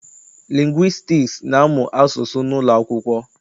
Lingwistiks na-amụ asụsụ n'ụlọakwụkwọ.